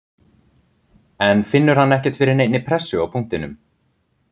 En finnur hann ekkert fyrir neinni pressu á punktinum?